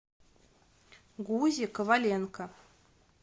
гузе коваленко